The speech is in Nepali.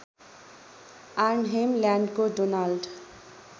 आर्नहेम ल्यान्डको डोनाल्ड